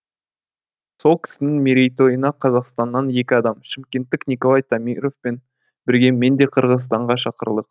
сол кісінің мерейтойына қазақстаннан екі адам шымкенттік николай тамировпен бірге мен де қырғызстанға шақырылдық